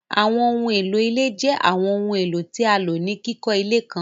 Àwọńohun elo ilẹ̀ jẹ́ Àwọńohun elo tí a ló ni kikọ ilẹ̀ kàn.